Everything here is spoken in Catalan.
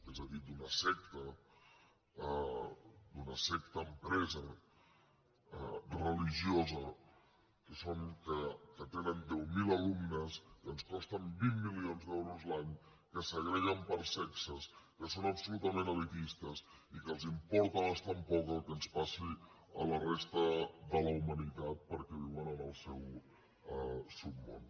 és a dir d’una secta d’una secta empresa religiosa que tenen deu mil alumnes que ens consten vint milions d’euros l’any que segreguen per sexes que són absolutament elitistes i que els importa bastant poc el que ens passi a la resta de la humanitat perquè viuen en el seu submón